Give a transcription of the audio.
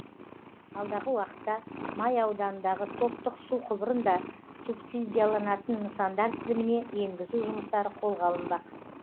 алдағы уақытта май ауданындағы топтық су құбырын да субсидияланатын нысандар тізіміне енгізу жұмыстары қолға алынбақ